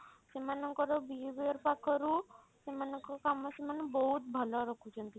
ସେମାନଙ୍କର behaviour ପାଖରୁ ସେମାନଙ୍କ କାମ ସେମାନେ ବହୁତ ଭଲ ରଖୁଛନ୍ତି।